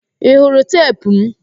Ị hụrụ teepu m?